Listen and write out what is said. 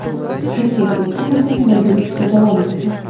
Erkak to‘xtamagan va yurishda davom etgan.